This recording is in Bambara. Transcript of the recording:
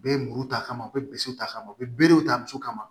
U bɛ muru ta ka u bɛ ta ka ma u bɛ berew ta muso kama